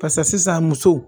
Pase sisan musow